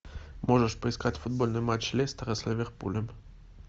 можешь поискать футбольный матч лестера с ливерпулем